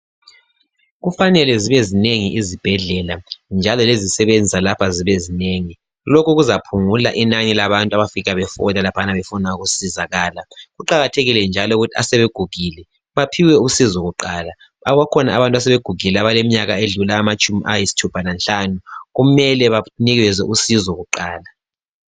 Kufanele zibe zinengi izibhedlela njalo lezisebenzi zalapha zibe zinengi. Lokho kuzaphungula inani labantu abafika behole laphana befuna usizo. Kuqakathekile njalo ukuthi asebegugile baphiwe usizo kuqala. Bakhona abantu asebegugile abadlula iminyaka engamatshumi ayisithupha lanhlanu kumele banikezwe usizo kuqala.